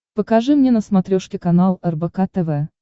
покажи мне на смотрешке канал рбк тв